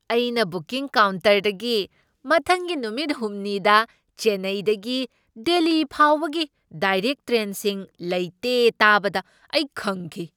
ꯑꯩꯅ ꯕꯨꯀꯤꯡ ꯀꯥꯎꯟꯇꯔꯗꯒꯤ ꯃꯊꯪꯒꯤ ꯅꯨꯃꯤꯠ ꯍꯨꯝꯅꯤꯗ ꯆꯦꯟꯅꯩꯗꯒꯤ ꯗꯦꯜꯂꯤ ꯐꯥꯎꯕꯒꯤ ꯗꯥꯢꯔꯦꯛ ꯇ꯭ꯔꯦꯟꯁꯤꯡ ꯂꯩꯇꯦ ꯇꯥꯕꯗ ꯑꯩ ꯈꯪꯈꯤ꯫